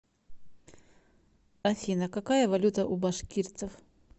афина какая валюта у башкирцев